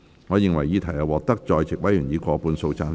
我認為議題獲得在席委員以過半數贊成。